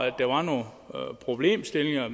at der var nogle problemstillinger